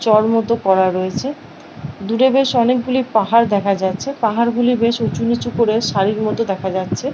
চড় মতো করা রয়েছে দূরে বেশ অনেকগুলি পাহাড় দেখা যাচ্ছে । পাহাড়গুলি বেশ উঁচু নিচু করে সারির মতো দেখা যাচ্ছে।